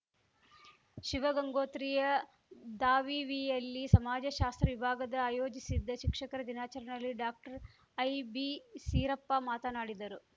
ಶಿವಗಂಗೋತ್ರಿಯ ದಾವಿವಿಯಲ್ಲಿ ಸಮಾಜ ಶಾಸ್ತ್ರ ವಿಭಾಗದ ಆಯೋಜಿಸಿದ್ದ ಶಿಕ್ಷಕರ ದಿನಾಚರಣೆಯಲ್ಲಿ ಡಾಕ್ಟರ್ಐಬಿಸೀರಪ್ಪ ಮಾತನಾಡಿದರು